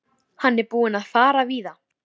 Hann er búinn að fara víða.